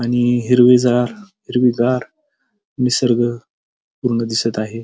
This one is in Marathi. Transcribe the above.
आणि हिरवीजार हिरवीगार निसर्ग पूर्ण दिसत आहे.